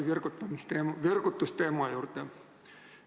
Ma tulen jälle virgutusteema juurde.